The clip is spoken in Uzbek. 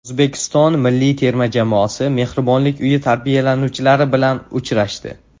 O‘zbekiston milliy terma jamoasi mehribonlik uyi tarbiyalanuvchilari bilan uchrashdi.